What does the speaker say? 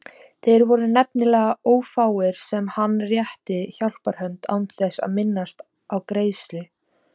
Þeir voru nefnilega ófáir sem hann rétti hjálparhönd án þess að minnast á greiðslu.